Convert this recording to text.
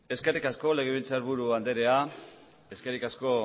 eskerrik asko legebiltzarburu andrea eskerrik asko